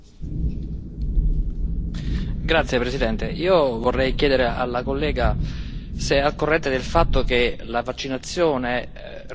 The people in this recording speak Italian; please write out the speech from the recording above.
Vorrei chiedere alla collega se è al corrente del fatto che la vaccinazione risiede in un campo che riguarda la salute e non la sanità.